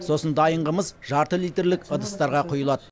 сосын дайын қымыз жарты литрлік ыдыстарға құйылады